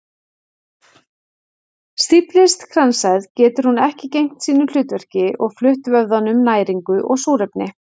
Stíflist kransæð getur hún ekki gegnt sínu hlutverki og flutt vöðvanum næringu og súrefni.